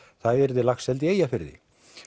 það yrði laxeldi í Eyjafirði